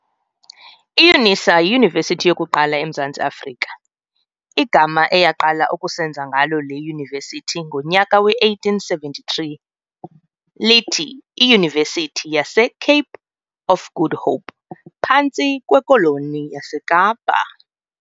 IYunisa yiyunivesithi yokuqala emZantsi Afrika - igama eyaqala ukusenza ngalo le yunivesithi ngonyaka we-1873, lithi iYunivesithi yase"Cape of Good Hope", phantsi kweKoloni yaseKapa.